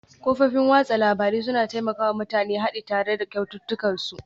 Kafofin watsa labarun suna taimaka wa mutane haɗi tare da ƙaunatattunsu